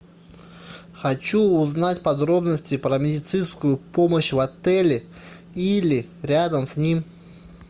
хочу узнать подробности про медицинскую помощь в отеле или рядом с ним